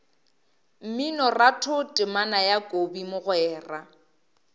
mminoratho temana ya kobi mogwera